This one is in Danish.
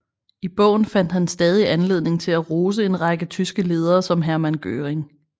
I bogen fandt han stadig anledning til at rose en række tyske ledere som Hermann Göring